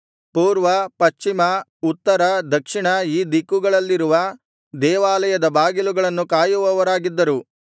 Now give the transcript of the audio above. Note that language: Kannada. ಪೂರ್ವ ಪಶ್ಚಿಮ ಉತ್ತರ ದಕ್ಷಿಣ ಈ ದಿಕ್ಕುಗಳಲ್ಲಿರುವ ದೇವಾಲಯದ ಬಾಗಿಲುಗಳನ್ನು ಕಾಯುವವರಾಗಿದ್ದರು